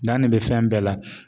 Dan ne bɛ fɛn bɛɛ la.